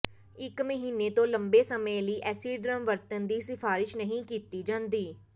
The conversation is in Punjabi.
ਇਕ ਮਹੀਨੇ ਤੋਂ ਲੰਬੇ ਸਮੇਂ ਲਈ ਐਸੀਡਰਮ ਵਰਤਣ ਦੀ ਸਿਫਾਰਸ਼ ਨਹੀਂ ਕੀਤੀ ਜਾਂਦੀ